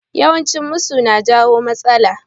Yawan cin musu na jawo matsala